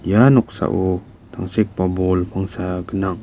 ia noksao tangsekba bol pangsa gnang.